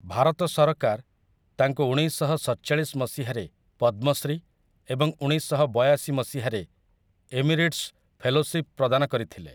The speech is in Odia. ଭାରତ ସରକାର ତାଙ୍କୁ ଉଣେଇଶଶହସତଚାଳିଶ ମସିହାରେ ପଦ୍ମଶ୍ରୀ ଏବଂ ଉଣେଇଶଶହବୟାଶି ମସିହାରେ ଏମିରିଟସ୍ ଫେଲୋସିପ୍ ପ୍ରଦାନ କରିଥିଲେ ।